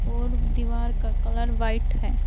और दीवार का कलर व्हाइट है।